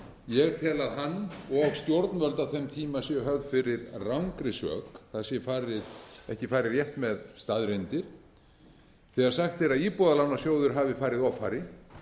ég tel að hann og stjórnvöld á þeim tíma séu höfð fyrir rangri sök það sé ekki farið rétt með staðreyndir þegar sagt er að íbúðalánasjóður hafi farið offari